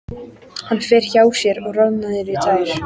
Hann fer hjá sér og roðnar niður í tær.